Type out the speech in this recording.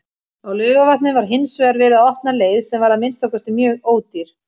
Á Laugarvatni var hinsvegar verið að opna leið, sem var að minnsta kosti mjög ódýr.